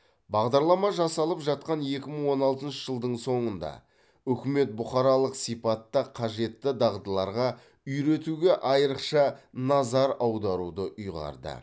бағдарлама жасалып жатқан екі мың он алтыншы жылдың соңында үкімет бұқаралық сипатта қажетті дағдыларға үйретуге айрықша назар аударуды ұйғарды